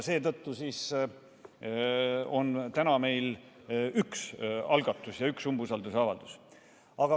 Seetõttu on meil täna üks algatus, üks umbusaldusavaldus.